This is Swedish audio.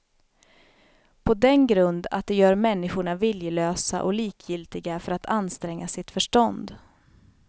På den grund att de gör människorna viljelösa och likgiltiga för att anstränga sitt förstånd.